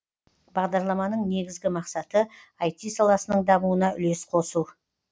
бағдарламаның негізгі мақсаты ай ти саласының дамуына үлес қосу